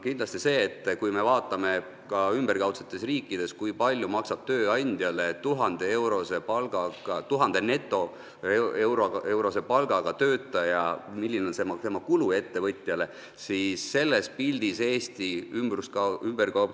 Kindlasti seetõttu, et kui me vaatame seda, kui palju maksab ümberkaudsetes riikides tööandjale 1000-eurose netopalgaga töötaja, milline on tema kulu ettevõtjale, siis Eesti ei ole väga heal kohal.